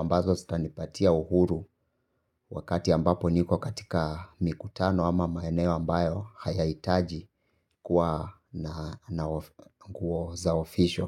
ambazo sitanipatia uhuru wakati ambapo niko katika mikutano ama maeneo ambayo hayahitaji kuwa na nguo za official.